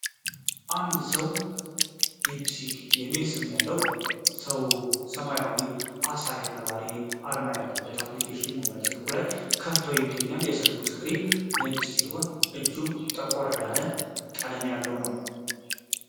አንድ ሰው ዲፕሲክ የሚል ስም ያለውና ሰማያዊ ዓሣ ነባሪ አርማ ያለበት አፕሊኬሽን በሞባይል ስልኩ ላይ ከፍቶ ይገኛል። የስልኩ ስክሪን ነጭ ሲሆን እጁ ጠቆር ያለ ቀለም አለው።